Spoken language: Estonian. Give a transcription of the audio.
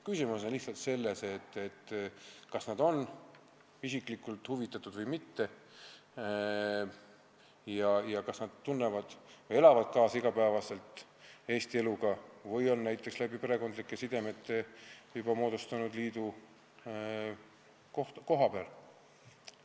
Küsimus on lihtsalt selles, kas nad on isiklikult huvitatud või mitte ja kas nad elavad igapäevaselt kaasa Eesti elule või on näiteks perekondlike sidemete kaudu moodustanud liidu kohapeal.